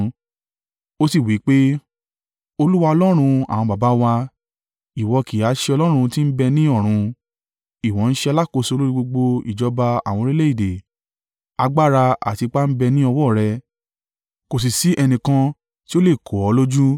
O sì wí pé, “Olúwa, Ọlọ́run àwọn baba wa, ìwọ kì ha ṣe Ọlọ́run tí ń bẹ ní ọ̀run? Ìwọ ń ṣe alákòóso lórí gbogbo ìjọba àwọn orílẹ̀-èdè. Agbára àti ipá ń bẹ ní ọwọ́ rẹ, kò sì sí ẹnìkan tí ó lè kò ọ́ lójú.